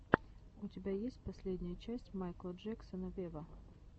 у тебя есть последняя часть майкла джексона вево